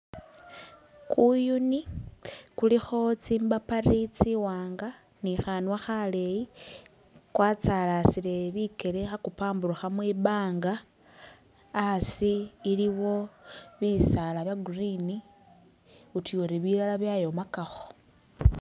Kuyuni khulikho tsimbapari tsiwanga ni khanwa khaleyi kwatsalasile bikele khakumpamburukha mwimbanga asi iliwo bisaala bya'green utuyori bilala byayomakakho